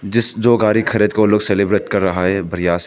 जिस जो गाड़ी खरीदकर वो लोग सेलिब्रेट कर रहा है बढ़िया से।